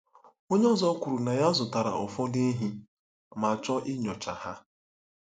Onye ọzọ kwuru na ya zụtara ụfọdụ ehi ma chọọ inyocha ha.